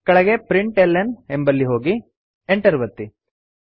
ಕೆಳಗೆ println ಎಂಬಲ್ಲಿ ಹೋಗಿ Enter ಒತ್ತಿ